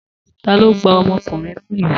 Ta ló gbá ọmọkùnrin náà lù?